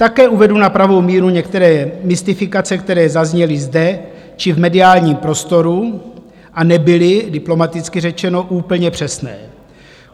Také uvedu na pravou míru některé mystifikace, které zazněly zde či v mediálním prostoru a nebyly - diplomaticky řečeno - úplně přesné.